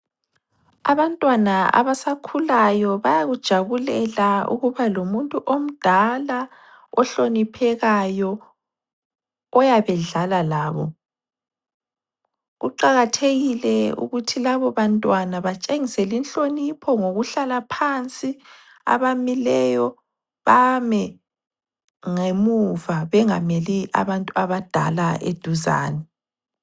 Abantwana abasakhulayo bayakujabulela ukuba lomuntu omdala ohloniphekayo oyabe edlala labo. Kuqakathekile ukuthi labo bantwana batshengisele inhlonipho ngokuhlala phansi abamileyo bame ngemuva bengameli abantu abadala eduzane.